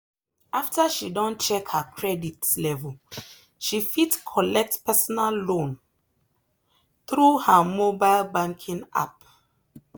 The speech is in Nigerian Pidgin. after she don check her credit level she fit collect personal loan through her mobile banking app.